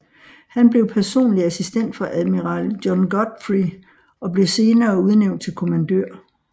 Han blev personlig assistent for admiral John Godfrey og blev senere udnævnt til kommandør